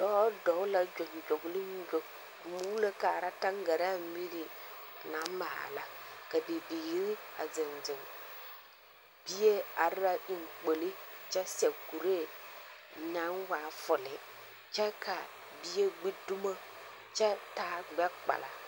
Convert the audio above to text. Dɔɔ dɔg la gyoŋgyogliŋgyo a muulo kaara taŋgaraa miri, naŋ maala, ka bibiiri a zeŋ zeŋ. Bie are la eŋkpoli, kyɛ seɛ kuree naŋ waa fole, kyɛ ka bie gbi dumo, kyɛ taa gbɛ-kpala.